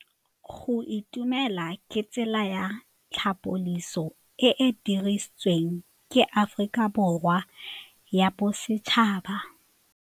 Go itumela ke tsela ya tlhapolisô e e dirisitsweng ke Aforika Borwa ya Bosetšhaba.